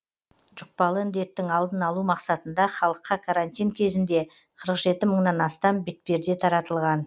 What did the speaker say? жұқпалы індеттің алдын алу мақсатында халыққа карантин кезінде қырық жеті мыңнан астам бетперде таратылған